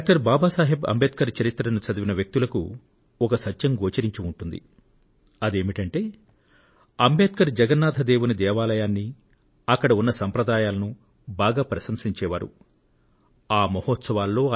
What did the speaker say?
doctor Baba Saheb Ambedkar జీవితాన్ని ఆయన రాసిన పుస్తకాలను చదివిన వారు ఆయన భగవాన్ జగన్నాథుని దేవాలయాన్ని ఆ ఆలయ సంప్రదాయాలను మనస్పూర్తిగా ప్రశంసించారని గ్రహించి ఉంటారు